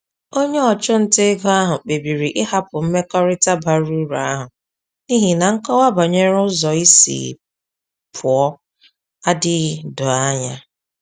Onye ọchụnta ego ahụ kpebiri ịhapụ mmekọrịta bara uru ahụ n’ihi na nkọwa banyere ụzọ isi pụọ adịghị doo anya.